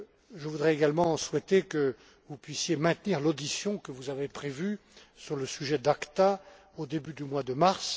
Je voudrais également souhaiter que vous puissiez maintenir l'audition que vous avez prévue sur le sujet d'ACTA au début du mois de mars.